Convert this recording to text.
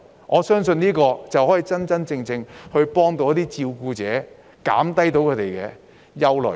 我相信，這才能真正幫助照顧者，紓解他們的憂慮。